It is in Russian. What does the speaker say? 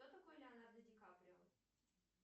кто такой леонардо ди каприо